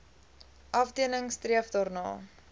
afdeling streef daarna